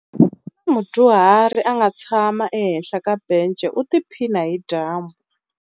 Ku na mudyuhari a nga tshama ehenhla ka bence u tiphina hi dyambu.